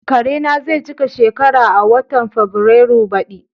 Karena zai cika shekara uku a watan Fabrairun baɗi.